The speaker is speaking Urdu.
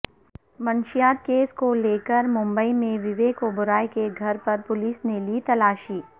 منشیات کیس کو لیکرممبئی میںوویک اوبرائے کے گھر پر پولیس نے لی تلاشی